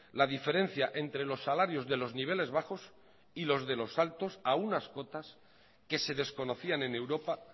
la diferencia entre los salarios de los niveles bajos y los de los altos a unas cotas que se desconocían en europa